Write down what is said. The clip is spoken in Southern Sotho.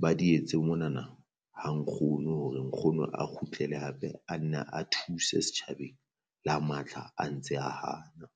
ba di etse monana ha nkgono, hore nkgono a kgutlele hape a nna a thuse setjhabeng le ha matla a ntse a hana.